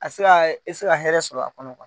A bi se a i bi se ka hɛrɛ sɔrɔ a kɔnɔ .